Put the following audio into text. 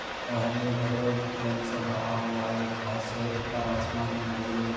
और हरे- भरे रंग से भरा हुआ है एक घास है ऊपर आसमान है बड़े- बड़े--